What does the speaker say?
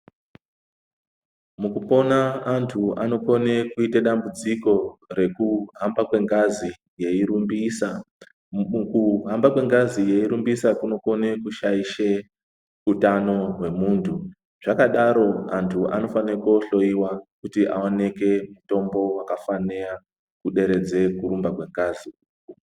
Mukupona anthu anokone kuite dambudziko rekuhamba kwengazi yeirumbisa mukuhamba kwengazi yeirumbisa kunokone kushaishe utano hwemunthu zvakadaro anthu anofanira kuhloyiwa kuti aoneke mitombo wakafana kuderedza kurumba kwengazi.